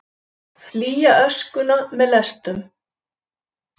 Flýja öskuna með lestum